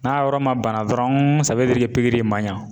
N'a yɔrɔ ma bana dɔrɔn i pikiri in ma ɲan